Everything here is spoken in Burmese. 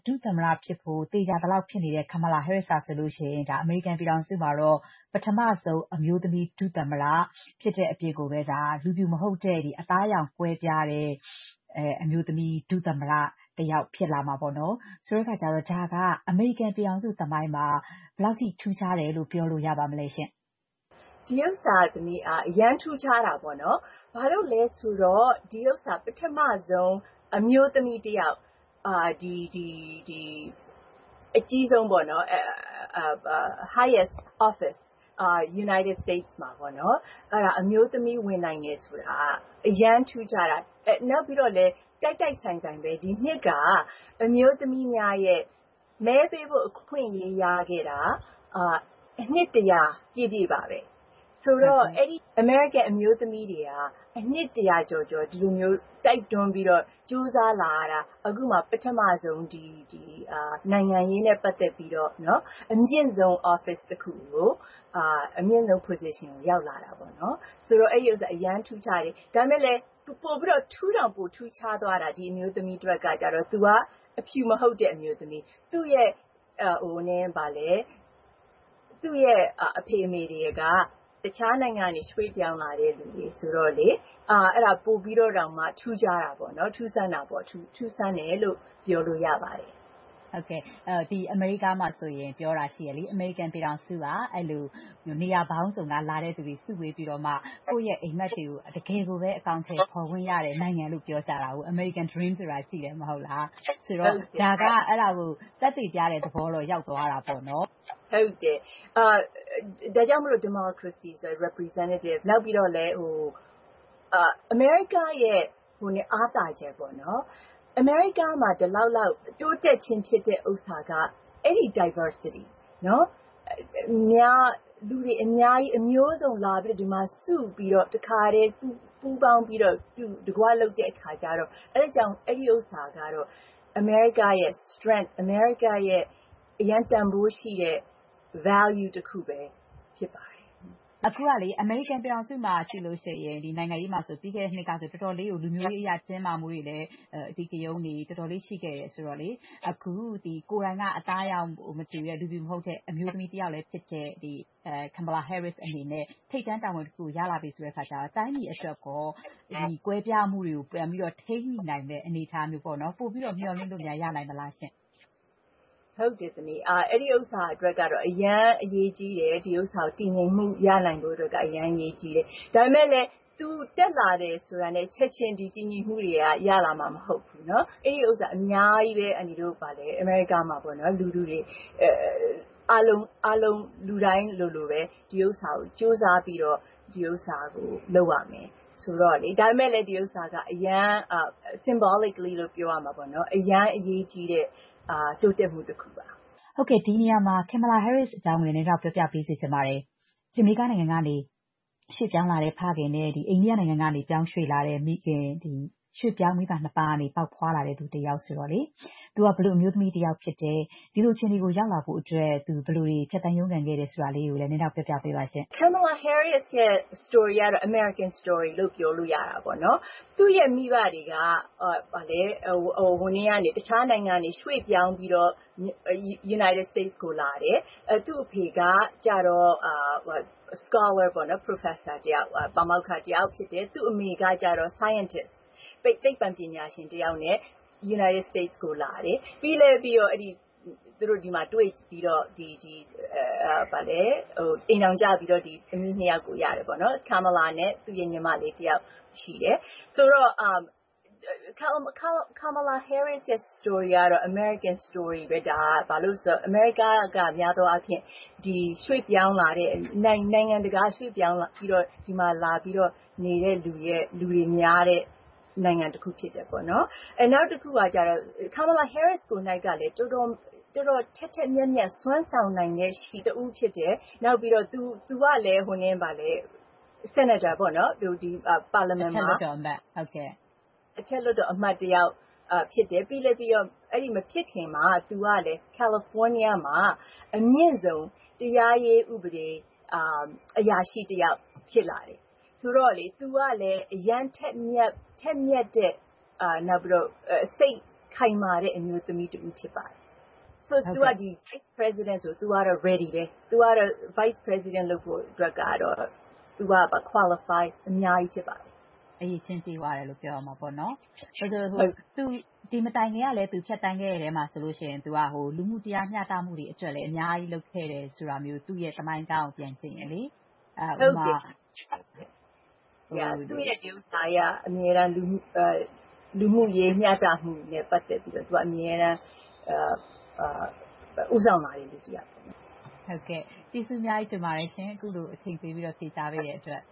ဒုသမ္မတ ဖြစ်ဖို့ သေချာနေပြီဖြစ်တဲ့ Kamala Harris ဟာဆိုရင် အမေရိကန် ပြည်ထောင်စုမှာတော့ ပထမဦးဆုံး အမျိုးသမီး ဒုသမ္မတ ဖြစ်တဲ့အပြင် ဒါ လူဖြူမဟုတ်တဲ့ အသားအရောင်ကွဲပြားတဲ့ အမျိုးသမီး ဒုသမ္မတ တယောက်ဖြစ်လာမှာပေါ့နော် ဆိုတဲ့အခါကျတော့ ဒါက အမေရိကန် ပြည်ထောင်စုသမိုင်းမှာ ဘယ်လောက်ထိ ထူးခြားတယ်လို့ ပြောလို့ရပါမလဲရှင့်။ ဒါကတော့ အရမ်းထူးခြားတာပေါ့နော် ဘာလို့လဲဆိုတော့ ဒါက ပထမဦးဆုံး အမျိုးသမီးတယောက် အမြင့်ဆုံး Highest Office အမေရိကန်နိုင်ငံမှာပေါ့နော် အမျိုးသမီး ဝင်နိုင်တယ်ဆိုတာ အရမ်းထူးခြားတာ ။ နောက်ပြီးတော့လည်း တိုက်တိုက်ဆိုင်ဆိုင် ဒီနှစ်က အမျိုးသမီးများရဲ့ မဲပေးဖို့ အခွင့်အရေး ရခဲ့တာ နှစ် ၁၀၀ ပြည့်နှစ်ပါပဲ။ ဆိုတော့ အဲဒီ အမေရိကန်အမျိုးသမီးတွေက နှစ် ၁၀၀ ကျော်ကျော် ဒီလိုမျိုး တိုက်တွန်းပြီးတော့ ကြိုးစားလာရတာ အခုမှ ပထမဦးဆုံး နိုင်ငံရေးနဲ့ ပတ်သက်ပြီး အမြင့်ဆုံး office တခုကို အမြင့်ဆုံး position ကိုရောက်လာတာပေါ့နော် ဆိုတော့ အဲဒါ အရမ်းထူးခြားတယ်။ ဒါပေမယ့်လည်း ပိုပြီးတောင်မှ ထူးခြားသွားတာက ဒီအမျိုးသမီးအတွက်ကျတော့ သူက အဖြူမဟုတ်တဲ့ အမျိုးသမီး ၊ သူ့အဖေအမေတွေက တခြားနိုင်ငံကနေ ရွှေ့ပြောင်းလာတဲ့လူတွေ ဆိုတော့ ပိုပြီးတောင်မှ ထူးခြား တာပေါ့နော်။ ထူးဆန်းတယ်လို့ ပြောလို့ရပါတယ်။ ဟုတ်ကဲ့ အမေရိကန် မှာ ပြောတာရှိတယ်လေ အမေရိကန် ပြည်ထောင်စုက နေရာပေါင်းစုံက လာတဲ့သူတွေ စုပြီးတော့မှ ကိုယ့်အိမ်မက်တွေကို တကယ်ပဲ အကောင်အထည်ဖော် ခွင့်ရတဲ့ နိုင်ငံလို့ ပြောကြတာကို American Dream ဆိုတာ ရှိတယ်မဟုတ်လား။ ဆိုတော့ ဒါက အဲဒါကို သက်သေပြတဲ့ သဘောတော့ ရောက်သွားတာပေါ့နော်။ ဒါကြောင့်မို့လို့ ဒီမိုကရေစီဆိုတာ representative ၊ နောက်ပြီးတော့လည်း အမေရိကန်ရဲ့ အားသာချက်ပေါ့နော်။ အမေရိကန် မှာ ဒီလောက် တိုးတက်ခြင်းဖြစ်တာက ဒီ Diversity ၊ လူတွေအများကြီး အမျိုးစုံလာပြီးတော့ စုပြီးတော့ တခါတည်း ပူးပေါင်းပြီးတော့ အတူတကွလုပ်တဲ့အခါကျတော့ အဲဒါကြောင့် အဲဒီဥစ္စာကတော့ အမေရိကန်ရဲ့ Strength အမေရိကန်ရဲ့ အရမ်းတန်ဖိုးရှိတဲ့ Value တခုပဲ ဖြစ်ပါတယ်။ အခုကလေ အမေရိကန် ပြည်ထောင်စုမှာ ကြည့်လို့ရှိရင် နိုင်ငံရေးမှာဆိုရင် ပြီးခဲ့တဲ့ နှစ်က တော်တေ်ာလေးကို လူမျိုးရေးအရ တင်းမာမှုတွေ ၊ အဓိကရုဏ်းတွေ တော်တော်လေးရှိခဲ့တယ်ဆိုတော့ အခု ကိုယ်တိုင်က အသားအရောင်မတူတဲ့ လူဖြူမဟုတ်တဲ့ အမျိုးသမီးတယောက်လည်း ဖြစ်တဲ့ Kamala Harris အနေနဲ့ ထိပ်တန်း တာဝန်တခုကို ရလာပြီဆိုတဲ့အခါကျတော့ တိုင်းပြည်အတွက်ရော ကွဲပြားမှုတွေကို ပြန်ပြီးတော့ ထိန်းညှိနိုင်မယ့် အနေအထားမျိုးပေါ့နော် ပိုပြီးတော့ မျှော်လင့်လို့ ရနိုင်မလားရှင့်။ အဲဒီဟာအတွက်ကတော့ အရမ်းအရေးကြီးတယ်။ ဒါ တည်ငြိမ်မှု ရနိုင်ဖို့အတွက် အရမ်းအရေးကြီးတယ်။ ဒါပေမယ့်လည်း သူ တက်လာတယ်ဆိုတာနဲ့ ချက်ချင်း ဒီတည်ငြိမ်မှုတွေက ရလာမှာမဟုတ်ဘူး အဲဒီဥစ္စာအများကြီးပဲ အန်တီတို့ အမေရိကားမှာ လူထုတွေ အားလုံး လူတိုင်းလိုလိုပဲ ဒီဟာကို ကြိုးစားပြီးတော့ လုပ်ရမယ် ။ ဒါပေမယ့်လည်း ဒီဟာက Symbolic လို့ပြောရမလား ။ အရမ်းအရေးကြီးတဲ့ တိုးတက်မှု တခုပါ။ ဟုတ်ကဲ့ ဒီနေရာမှာ Kamala Harris အကြောင်ကို နည်းနည်းလောက် ပြောပြပေးစေချင်ပါတယ်။ ဂျာမေကာ နိုင်ငံကနေ ရွှေ့ပြောင်းလာတဲ့ ဖခင်နဲ့ အိန္ဒိယ နိုင်ငံကနေ ပြောင်းရွှေ့လာတဲ့ မိခင် ၊ ဒီလို ရွှေ့ပြောင်းမိဘ နှစ်ပါးကနေ ပေါက်ဖွားလာတဲ့ လူတယောက်ဆိုတော့လေ သူက ဘယ်လို အမျိုးသမီးတယောက်ဖြစ်တယ် ၊ ဒီလိုအခြေအနေကို ရောက်လာဖို့အတွက် သူ ဘယ်လို ဖြတ်သန်းရုန်းကန် ခဲ့တယ်ဆိုတာကိုလည်း နည်းနည်းလောက်ပြောပြပေးပါ။ Kamala Harris ရဲ့ Story ကတော့ အမေရိကန် Story လို့ပြောလို့ရတာပေါ့နော်။ သူ့ရဲ့ မိဘတွေက တခြားနိုင်ငံကနေ ရွှေ့ပြောင်းပြီးတော့ အမေရိကန်ကို လာတယ်။ သူ့အဖေကတော့ Scholar ပေါေ့နာ် ပါမောက္ခတယောက်ဖြစ်တယ်၊ သူ့အမေကတော့ သိပ္ပံပညာရှင်တယောက်ဖြစ်တယ်။ ပြီးတော့ အမေရိကန် ကိုလာတယ်။ သူတို့ ဒီမှာ တွေ့ပြီးတော့ အိမ်ထောင်ကျပြီးတော့ သမီ ၂ ယောက်ကို ရတယ်ပေါ့နော် ၊ Kamala နဲ့ သူ့ရဲ့ ညီမလေးတယောက် ရှိတယ်။ ဆိုတော့ Kamala Harris ရဲ့ Story ကတော့ အမေရိကန် Story ပဲ ဒါက ဘာဖြစ်လို့လဲဆိုတော့ အမေရိကန်မှာ များသောအားဖြင့် နိုင်ငံတကာက ရွှေ့ပြောင်းလာတဲ့ ဒီမှာလာပြီးတော့ နေတဲ့သူတွေ များတဲ့ နိုင်ငံတခုဖြစ်တယ်ပေါေ့နာ်။ နောက်တခုကတော့ Kamala Harris ကိုယ်တိုင်ကလည်း တော်တော် ထက်ထက်မြက်မြက် စွမ်းဆောင်ရှင်တဦးဖြစ်တယ်။ နောက်ပြီးတော့ သူက အထက်လွှတ်တော်အမတ်တယောက် ဖြစ်တယ်။ ပြီးတော့ မဖြစ်ခင်မှာ California မှာ အမြင့်ဆုံး တရားရေးဥပဒေ အရာရှိတယောက် ဖြစ်လာတယ်။ ဆိုတော့လေ သူကလည်း အရမ်းထက်မြက်တဲ့ စိတ်ခိုင်မာတဲ့ အမျိုးသမီးတဦးဖြစ်ပါတယ်။ ဆိုတော့ ဒီ Vice President လုပ်ဖို့ သူက Ready ပဲ၊ Vice President လုပ်ဖို့ သူက Qualify အများကြီးဖြစ်ပါတယ်။ အရည်အချင်းပြည့်ဝတယ်လို့ ပြောရမှာပေါ့နော် ဒီမတိုင်ခင်ကလည်း သူဖြတ်သန်းခဲ့တဲ့ အထဲမှာဆိုရင် သူ လူမှု တရားမျှတမှုတွေအတွက်လည်း အများကြီးလုပ်ခဲ့တယ်ဆိုတာမျိုး သူ့သမိုင်း ကြောင်းကို ပြန်ကြည့်ရင်လေ။ ဟုတ်တယ် သူ့ရဲ့ ဒီဥစ္စာတွေက အမြဲတမ်း လူမှုရေး မျှတမှုနဲ့ ပတ်သက်ပြီးတော့ အမြဲတမ်း ဦးဆောင်လာတဲ့သူတယောက်ပေါေ့နာ်။ ဟုတ်ကဲ့ ကျေးဇူးအများကြီးတင်ပါတယ်ရှင် အခုလို အချိန်ပေးပြီး ဖြေကြားပေးတဲ့အတွက်